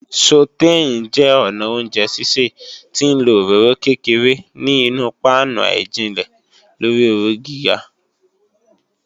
Sọ̀téìn jẹ́ ọnà oúnjẹ sísè tí ń lọ òróró kékeré ní inu páánù àìjinlẹ̀ lórí ooru gíga.